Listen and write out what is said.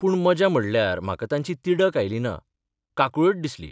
पूण मजा म्हणल्यार म्हाका तांची तिडक आयली ना, काकूळट दिसली.